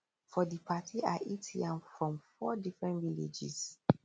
for di party i eat yam from four different villages